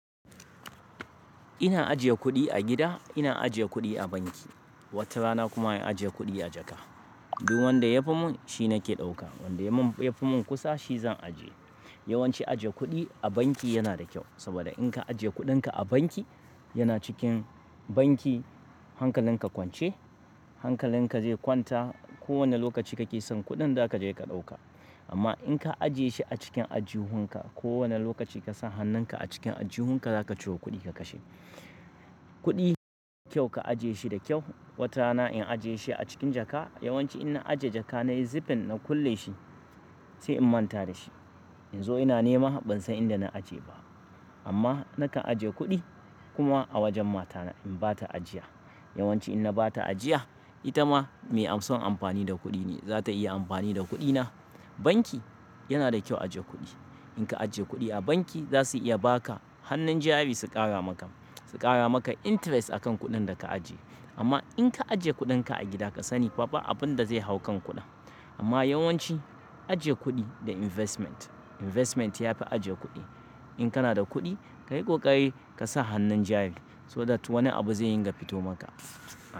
Ina ajiye kuɗi a gida, ina ajiye kuɗi a banki. Wata rana kuma in ajije kuɗi a jaka. Duk wanda yafi mun shi nake ɗauka. Wanda yafi mun kusa shi zan aje. Yawanci ajiye kuɗi a banki yana da kyau. Saboda in ka ajiye kuɗinka a banki, yana cikin banki hankalin ka kwance, hankalin ka zai kwanta ko wane lokaci kake son kuɗin za ka je ka ɗauka. Amma in ka ajiye shi a cikin ajju hun ka, ko wane lokaci kasan hannun ka a cikin ajju hun ka zaka ciro kuɗi ka kashe. Kuɗi kyau ka ajiye shi da kyau. Wata rana in ajiye shi a cikin jaka, yawanci ina ajiye jaka nayi zifin na kulle shi sai in manta da shi. In zo ina nema ban san inda na aje ba. Amma naka ajiye kuɗi kuma a wajen mata na in bata ajiya. Yawanci ina bata ajiya ita ma mai son amfani da kuɗi ne za ta iya amfani da kuɗina. Banki yana da kyau ajiye kuɗi. In ka ajiye kuɗi a banki za su iya baka hannun jari su ƙara maka, su ƙara maka interest akan kuɗin da ka ajiye. Amma in ka ajiye kuɗin ka a gida, ka sani babu abin da zai hau kan kuɗin. Amma yawanci ajiye kuɗi da investment, investment yafi ajiye kuɗi. In kana da kuɗi kayi ƙoƙari ka sa hannun jari saboda wani abu zai dinga fito maka.